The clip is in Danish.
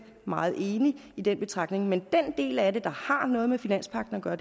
meget enig i den betragtning men den del af det der har noget med finanspagten at gøre